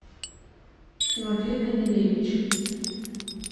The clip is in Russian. тимофей данилевич